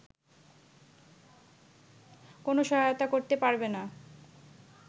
কোনো সহায়তা করতে পারবেনা